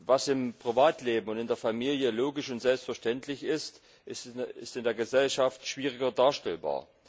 Was im Privatleben und in der Familie logisch und selbstverständlich ist, ist in der Gesellschaft schwieriger darstellbar.